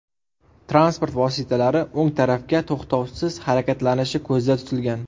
Transport vositalari o‘ng tarafga to‘xtovsiz harakatlanishi ko‘zda tutilgan.